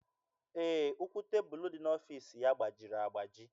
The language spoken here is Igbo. Ee, ụkwụ tebụlụ dị n'ọfiisi ya gbajiri agbaji.